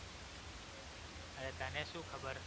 હવે તને શું ખબર